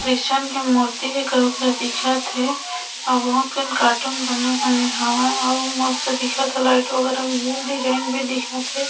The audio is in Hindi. क्रिस्चियन के मूर्ति हे कहुंक ले दिखत हे अऊ बहुत कन कार्टून बने - बने हावय अउ मस्त दिखत हे लाइट वगैरह भी हे डिज़ाइन भी दिखत हे।